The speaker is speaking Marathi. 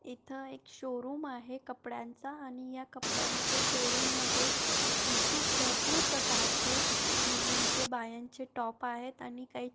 इथे एक शो रूम आहे कपड्यांचा आणि या कपड्यांच्या शो रूम मध्ये भपू भरपूर प्रकारचे मुलीचे बायांचे टॉपा आहेत आणि काही --